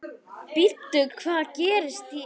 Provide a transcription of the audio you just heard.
Bíddu, hvað gerði ég?